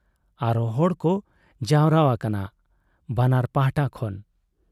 ᱟᱨᱦᱚᱸ ᱦᱚᱲᱠᱚ ᱡᱟᱣᱨᱟ ᱟᱠᱟᱱᱟ ᱵᱟᱱᱟᱨ ᱯᱟᱦᱴᱟ ᱠᱷᱚᱱ ᱾